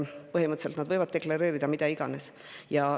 Põhimõtteliselt nad võivad deklareerida mida iganes.